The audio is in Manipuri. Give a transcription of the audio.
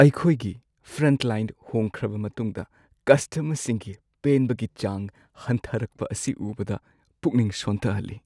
ꯑꯩꯈꯣꯏꯒꯤ ꯐ꯭ꯔꯟꯠꯂꯥꯏꯟ ꯍꯣꯡꯈ꯭ꯔꯕ ꯃꯇꯨꯡꯗ ꯀꯁꯇꯃꯔꯁꯤꯡꯒꯤ ꯄꯦꯟꯕꯒꯤ ꯆꯥꯡ ꯍꯟꯊꯔꯛꯄ ꯑꯁꯤ ꯎꯕꯗ ꯄꯨꯛꯅꯤꯡ ꯁꯣꯟꯊꯍꯜꯂꯤ꯫